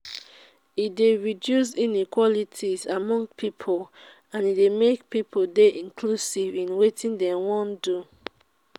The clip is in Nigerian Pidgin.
e de reduce inequalities among pipo and e de make pipo de inclusive in wetin dem won don